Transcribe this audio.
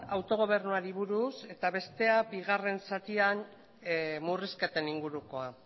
autogobernuari buruz eta bestea bigarren zatian murrizketen ingurukoa